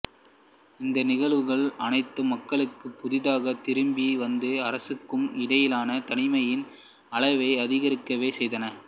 இந்த நிகழ்வுகள் அனைத்தும் மக்களுக்கும் புதிதாக திரும்பி வந்த அரசருக்கும் இடையிலான தனிமையின் அளவை அதிகரிக்கவே செய்தன